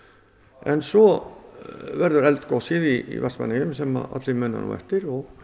en svo verður eldgosið í Vestmannaeyjum sem allir muna eftir og